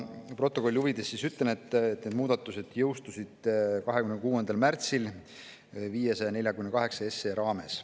Protokolli huvides ütlen, et need muudatused jõustusid 26. märtsil eelnõu 548 raames.